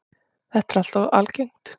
Þetta er alltof algengt.